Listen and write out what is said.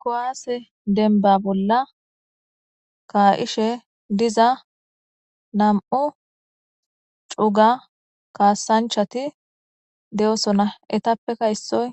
Kuwase dembba bolla ka'ishe diza nam'u cuga kasanchati de'osina eetapeka issoy